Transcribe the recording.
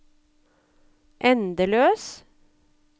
endeløs